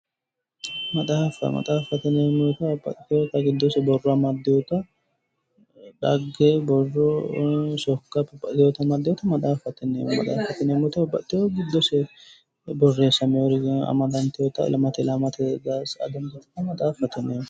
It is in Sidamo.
Maxaaffa, maxaaffate yineemmo wote babbaxxiteyota giddose borro amaddeyota xagge, vborro, sokka babbaxxiteyota amadeeha maxaaffate yineemmo. Maxaaffate yineemmoti babbaxxiteyo giddose borreessameyore amadanteyota ilamate ilama sa"a dandiita maxaaffate yineemmo.